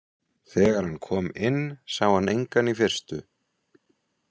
Þegar hann kom inn sá hann engan í fyrstu.